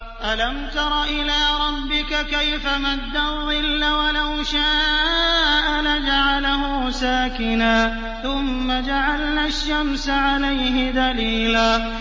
أَلَمْ تَرَ إِلَىٰ رَبِّكَ كَيْفَ مَدَّ الظِّلَّ وَلَوْ شَاءَ لَجَعَلَهُ سَاكِنًا ثُمَّ جَعَلْنَا الشَّمْسَ عَلَيْهِ دَلِيلًا